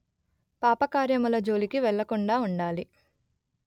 పాపకార్యముల జోలికి వెళ్ళకుండా ఉండాలి